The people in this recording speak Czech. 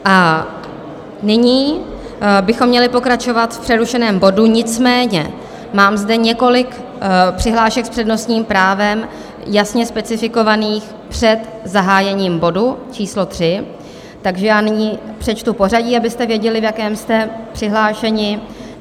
A nyní bychom měli pokračovat v přerušeném bodu, nicméně mám zde několik přihlášek s přednostním právem jasně specifikovaných před zahájením bodu číslo 3, takže já nyní přečtu pořadí, abyste věděli, v jakém jste přihlášeni.